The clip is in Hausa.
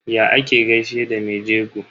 Ya ake gaishe da me jego?